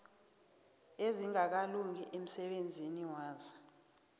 ezingakalungi emsebenzini waso